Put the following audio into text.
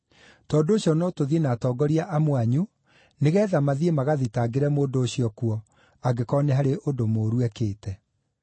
Tondũ ũcio no tũthiĩ na atongoria amwe anyu nĩgeetha mathiĩ magathitangĩre mũndũ ũcio kuo, angĩkorwo nĩ harĩ ũndũ mũũru ekĩte.”